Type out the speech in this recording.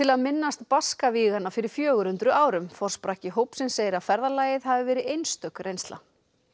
að minnast Baskavíganna fyrir fjögur hundruð árum forsprakki hópsins segir að ferðalagið hafi verið einstök reynsla